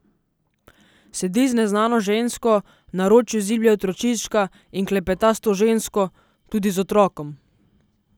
Sedi z neznano žensko, v naročju ziblje otročička in klepeta s to žensko, tudi z otrokom.